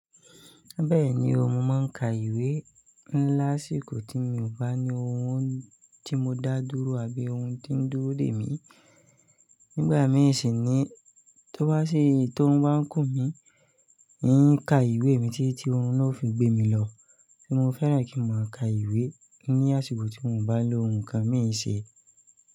Bẹ́ẹ̀ni o, mo máa ń ka ìwé ńlá síko tí mi ò bá ní ohun tí mo dá dúró àbí ohun tí ó ń dúró dè mí. Nígbà mìí sì ni tó bá sì tó ń bá kú mi, èyí ka ìwé mi títí ohun náà fi gbé mi lọ. Kí mo fẹ́ràn kí mo máa ka ìwé ní àsìkò tí mo bá lo ohun kan mé se.